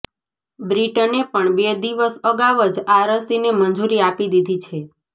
બ્રિટને પણ બે દિવસ અગાઉ જ આ રસીને મંજૂરી આપી દીધી છે